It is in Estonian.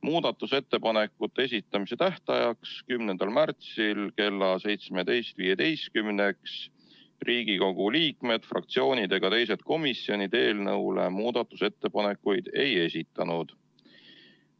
Muudatusettepanekute esitamise tähtajaks 10. märtsiks kella 17.15-ks Riigikogu liikmed, fraktsioonid ega teised komisjonid eelnõu kohta muudatusettepanekuid ei esitanud.